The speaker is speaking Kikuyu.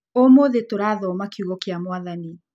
Ũmũthĩ tũrathoma kiugo kĩa Mwathani.